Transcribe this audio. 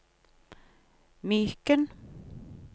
Myken